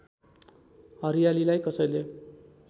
हरियालीलाई कसैले